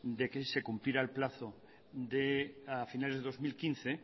de que se cumpliera el plazo de a finales de dos mil quince